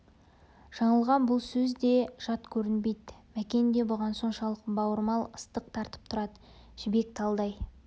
жаңылға бұл сөз де жат көрінбейді мәкен де бұған соншалық бауырмал ыстық тартып тұрады жібек талдай